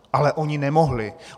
Ale oni nemohli.